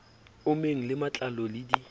ommeng le matlalo le di